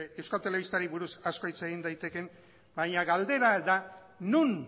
euskal telebistari buruz asko hitz daitekeen baina galdera da non